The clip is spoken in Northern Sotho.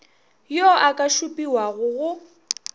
yo a ka šupiwago go